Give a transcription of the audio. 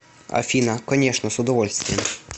афина конечно с удовольствием